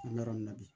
An bɛ yɔrɔ min na bi